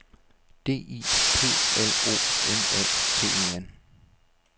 D I P L O M A T E N